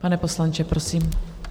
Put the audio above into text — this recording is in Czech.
Pane poslanče, prosím.